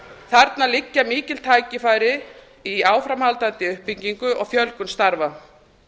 þarna liggja mikil tækifæri áframhaldandi uppbyggingu og fjölgun starfa